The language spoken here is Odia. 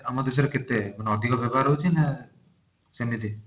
ଆମ ଦେଶ ରେ କେତେ ମାନେ ଅଧିକ ବ୍ୟବହାର ହଉଛି ନା ସେମିତି